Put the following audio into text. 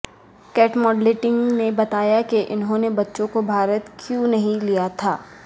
Kate Middleton نے بتایا کہ انہوں نے بچوں کو بھارت کیوں نہیں لیا تھا